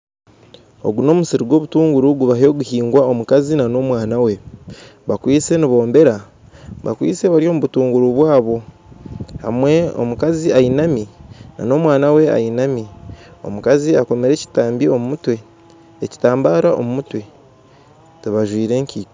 Ogu n'omusiri gw'obutunguuru gubaayo niguhigwa omukazi n'omwana we bakwitse nibombera obutuunguru bwabo aho omukazi ainami n'omwana we nawe ainami omukazi akoomire ekitambara omu mutwe tibajwire kaito